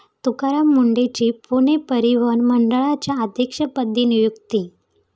तुकाराम मुंढेंची पुणे परिवहन मंडळाच्या अध्यक्षपदी नियुक्ती